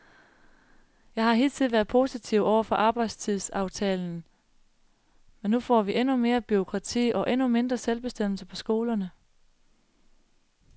Jeg har hidtil været positiv over for arbejdstidsaftalen, men nu får vi endnu mere bureaukrati og endnu mindre selvbestemmelse på skolerne.